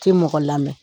Tɛ mɔgɔ lamɛn